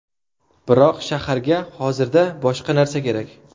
Biroq shaharga hozirda boshqa narsa kerak.